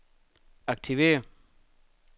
aktiver